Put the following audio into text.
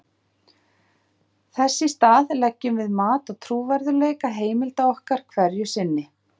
Þess í stað leggjum við mat á trúverðugleika heimilda okkar hverju sinni.